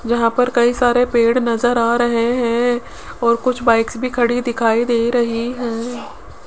यहां पर कई सारे पेड़ नजर आ रहे हैं और कुछ बाइक्स भी खड़ी दिखाई दे रही हैं।